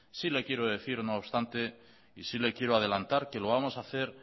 no obstante sí le quiero decir y adelantar que lo vamos a hacer